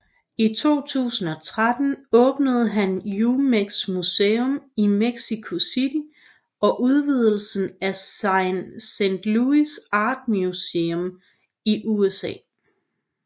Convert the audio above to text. I 2013 åbnede han Jumex Museum i Mexico City og udvidelsen af Saint Louis Art Museum i USA